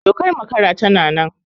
Dokar makara tana nan